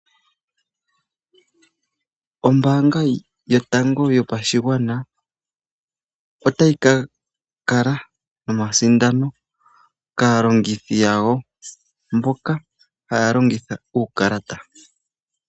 Ombanga yotango yomashigwana, otayi ka kala nomasindano kaalongithi yawo mboka haalongitha uukalata.